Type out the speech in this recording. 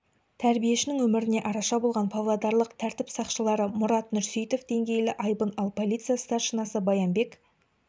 тәрбиешінің өміріне араша болған павлодарлық тәртіп сақшылары мұрат нұрсейітов деңгейлі айбын ал полиция старшинасы баянбек